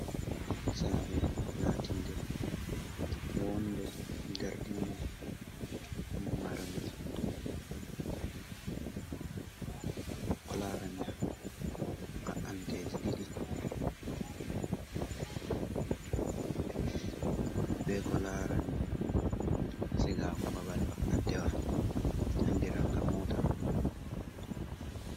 Sare latinde wonde dartinde marnde ko larani baanteji ɗiɗi be ko larani sigago babal ba antewa andiraga mota.